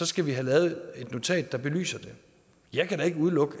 skal have lavet et notat der belyser det jeg kan da ikke udelukke